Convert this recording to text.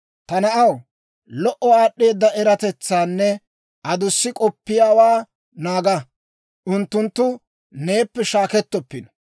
Ta na'aw, lo"o aad'd'eeda eratetsaanne adussi k'oppiyaawaa naaga; unttunttu neeppe shaakkettoppino.